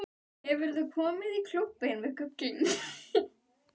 Hefurðu komið í Klúbbinn við Gullinbrú?